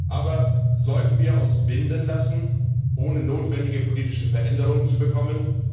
Aber sollten wir uns binden lassen, ohne notwendige politische Veränderungen zu bekommen?